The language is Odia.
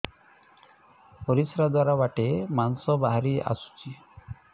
ପରିଶ୍ରା ଦ୍ୱାର ବାଟେ ମାଂସ ବାହାରି ଆସୁଛି